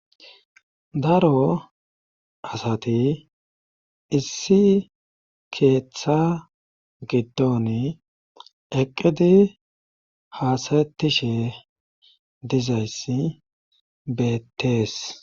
daro asati issi keeththa giddon eqqidi haasatishe dizayssi beettees